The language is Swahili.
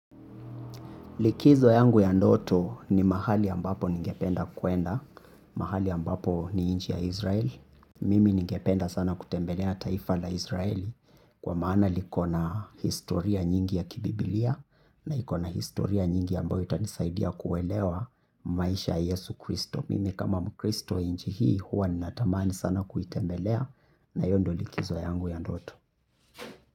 Likizo yangu ya ndoto ni mahali ambapo ningependa kuenda. Mahali ambapo ni nchi ya Israel. Mimi ningependa sana kutembelea taifa la Israel kwa maana liko na historia nyingi ya kibiblia na iko na historia nyingi ambayo itanisaidia kuelewa maisha ya Yesu Kristo. Mimi kama mkristo nchi hii huwa ninatamani sana kuitembelea na hiyo ndo likizo yangu ya ndoto.